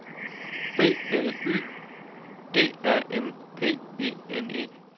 B L Y D A M P E N E